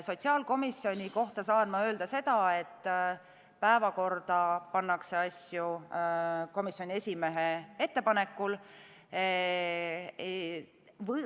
Sotsiaalkomisjoni kohta saan öelda seda, et päevakorda pannakse asju komisjoni esimehe ettepanekul.